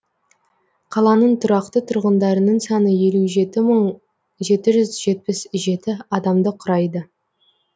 қаланың тұрақты тұрғындарының саны елу жеті мың жеті жүз жетпіс жеті адамды құрайды